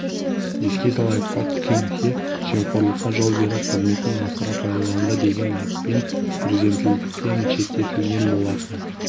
еске салайық пак кын хе жемқорлыққа жол беріп қызметін асыра пайдаланды деген айыппен президенттіктен шеттетілген болатын